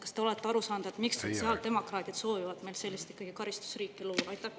Kas te olete aru saanud, miks sotsiaaldemokraadid soovivad meil sellist karistusriiki luua?